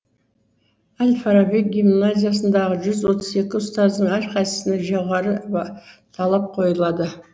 әл фараби гимназиясындағы жүз отыз екі ұстаздың әрқайсысына жоғары талап қойылады